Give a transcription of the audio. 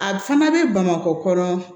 A fana bɛ bamakɔ dɔrɔn